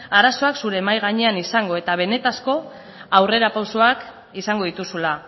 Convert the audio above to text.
arazoak zure mahai gainean izango eta benetako aurrerapausoak izango dituzula